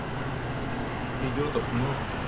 ну идиотов много